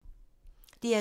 DR2